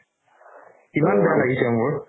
ইমান বেয়া লাগিছে মোৰ